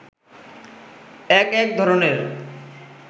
এক এক ধরণের